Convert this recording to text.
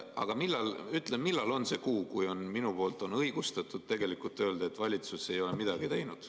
Aga ütle, millal on see kuu, kui ma võin õigustatult öelda, et valitsus ei ole midagi teinud.